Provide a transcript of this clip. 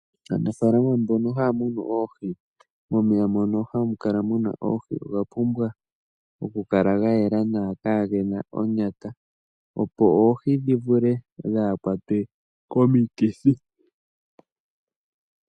Aanafalama mbono haya munu oohi momeya mono hamu kala oohi oga pumbwa okukala gayela nawa kagena onyata opo oohi dhivule dhaakwatwe komikithi.